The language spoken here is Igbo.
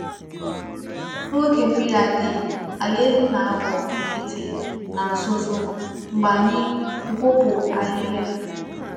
N’oge mmiri adịghị, ala elu na-aghọ nkịtị na uzuzu mgbe anyị kwụpụ ahịhịa.